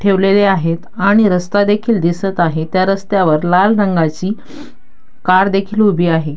ठेवलेले आहेत आणि रस्ता देखील दिसत आहेत त्या रस्त्यावर लाल रंगाची कार देखील उभी आहे.